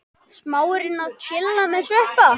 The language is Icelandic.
Smárinn að tjilla með Sveppa?